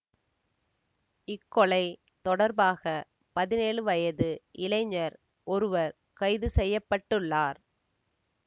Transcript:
இக்கொலை தொடர்பாக பதினேழு வயது இளைஞர் ஒருவர் கைது செய்ய பட்டுள்ளார்